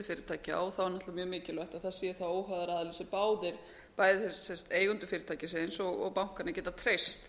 er náttúrlega mjög mikilvægt að það sé þá óháður aðili sem bæði eigendur fyrirtækisins og bankarnir geta treyst